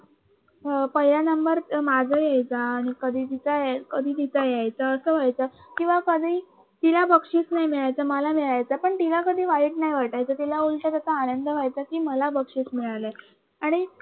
ह पहिला नंबर माझा यायचा कधी तिचा यायचा असं व्हायचं कधी तिला बक्षीस नाही मिळायचं मला मिळायचं पण तिला कधी वाईट नाही वाटायचं उलट कस आनंद व्हायचं की मला बक्षीस मिळाले आणि